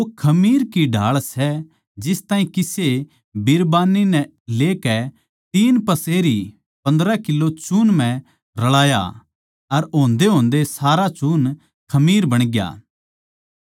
वो खमीर की ढाळ सै जिस ताहीं किसे बिरबान्नी नै लेकै तीन पसेरी पन्द्रह किलो चून म्ह रळाया अर होंदेहोंदे सारा चून खमीर बणग्या